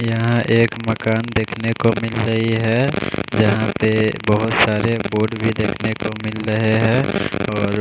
यहाँ एक मकान देखने को मिल रही है यहाँ पे बहोत सारे बोर्ड भी देखने को मिल रहे है और--